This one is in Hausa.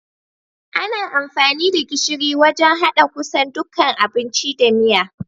Ana amfani da gishiri wajan haɗa kusan dukkan abinci da miya.